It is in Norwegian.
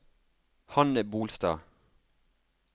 Hanne Bolstad